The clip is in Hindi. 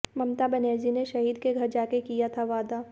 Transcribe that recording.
ममता बनर्जी ने शहीद के घर जाकर किया था वादा